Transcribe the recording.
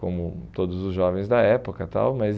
como todos os jovens da época tal. Mas